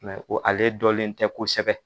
o ale dɔlen tɛ kosɛbɛ